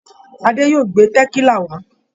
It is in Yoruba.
Adé yóò gbé tẹ̀kílà wá.